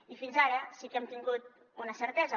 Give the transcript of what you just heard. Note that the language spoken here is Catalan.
i fins ara sí que hem tingut una certesa